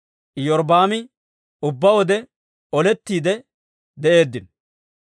Robi'aaminne Iyorbbaami ubbaa wode olettiide de'eeddino.